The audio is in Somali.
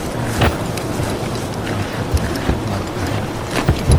Waa maxay calamadaha iyo astamaha cataract lawaad ee hore?